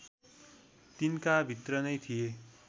तिनकाभित्र नै थिए